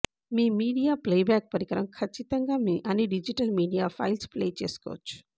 మీ media playback పరికరం ఖచ్చితంగా మీ అన్ని డిజిటల్ మీడియా ఫైల్స్ ప్లే చేసుకోవచ్చు